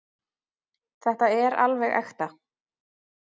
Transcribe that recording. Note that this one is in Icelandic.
Þetta er alveg ekta.